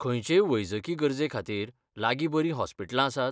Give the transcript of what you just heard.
खंयचेय वैजकी गरजेखातीर लागीं बरीं हॉस्पिटलां आसात?